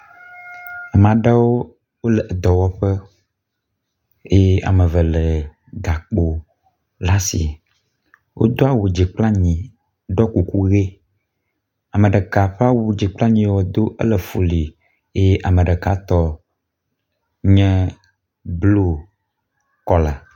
Ame aɖewo le dɔwɔƒe eye ame eve lé gakpo le asi. Wodo awu dzi kple anyi ɖɔ kuku ʋi. Ame ɖeka ƒe awu dzi kple anyi wodo ele fuli eye ame ɖekatɔ nye blu kɔla.